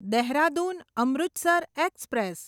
Dehradun Amritsar express